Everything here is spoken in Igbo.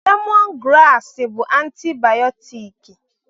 Lemọn graasị bụ antibayọtiki.